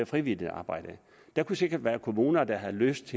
frivilligt arbejde der kunne sikkert være kommuner der havde lyst